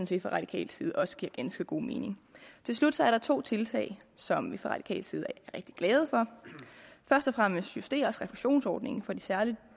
set fra radikal side også giver ganske god mening til slut er der to tiltag som vi fra radikal side er rigtig glade for først og fremmest justeres refusionsordningen for de særlig